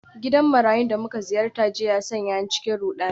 Gidan marayun da muka ziyarta jiya ya sanya ni cikin rudani.